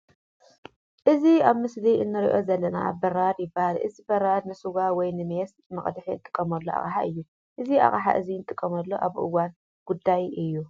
እዚ ኣብ ምስሊ እንሪኦ ዘለና በራድ ይባሃል እዚ በራድ ንስዋ ወይ ንሚየስ መቅዲሒ እንጥቀመሉ ኣቅሓ እዩ። እዚ ኣቅሓ እዚ እንጥቀመሉ ኣብ እዋን ጉዳይ እዩ።